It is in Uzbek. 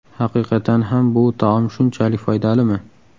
Haqiqatan ham bu taom shunchalik foydalimi?